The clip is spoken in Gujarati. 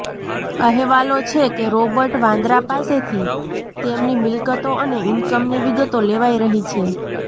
અહેવાલો છે કે રોબર્ટ વાડ્રા પાસેથી તેમની મિલ્કતો અને ઈન્કમની વિગતો લેવાઈ રહી છે